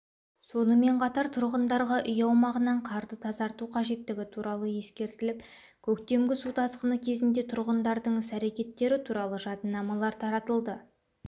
сонымен қатар тұрғындарға үй аумағынан қарды тазарту қажеттігі туралы ескертіліп көктемгі су тасқыны кезінде тұрғындардың іс-әрекеттері туралы жадынамалар таратылды